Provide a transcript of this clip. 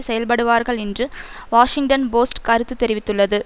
செயல்படுவார்கள் என்று Washington Post கருத்து தெரிவித்துள்ளது